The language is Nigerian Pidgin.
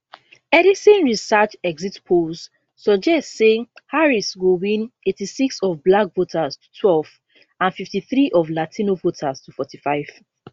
edison research exit polls suggest say harris go win 86 of black voters to twelve and 53 of latino voters to 45